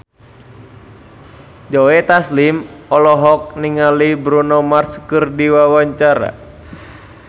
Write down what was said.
Joe Taslim olohok ningali Bruno Mars keur diwawancara